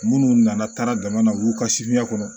Munnu nana taara jamana u y'u ka kɔnɔ